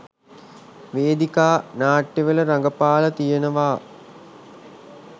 වේදිකා නාට්‍යවල රඟපාලා තියෙනවා.